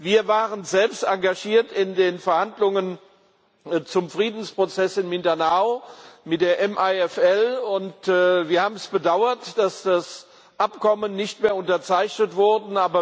Wir waren selbst engagiert in den Verhandlungen zum Friedensprozess in Mindanao mit der MILF, und wir haben bedauert, dass das Abkommen nicht mehr unterzeichnet wurde.